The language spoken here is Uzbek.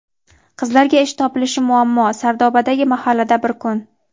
Qizlarga ish topilishi muammo - Sardobadagi mahallada bir kun.